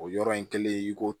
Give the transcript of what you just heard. O yɔrɔ in kelen i ko